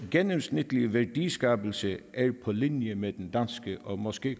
gennemsnitlige værdiskabelse er på linje med den danske og måske